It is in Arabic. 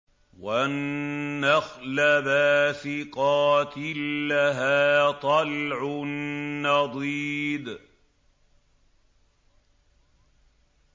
وَالنَّخْلَ بَاسِقَاتٍ لَّهَا طَلْعٌ نَّضِيدٌ